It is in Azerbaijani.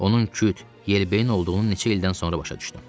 Onun küt, yelbeyin olduğunu neçə ildən sonra başa düşdüm.